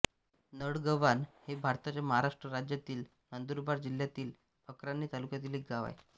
नळगव्हाण हे भारताच्या महाराष्ट्र राज्यातील नंदुरबार जिल्ह्यातील अक्राणी तालुक्यातील एक गाव आहे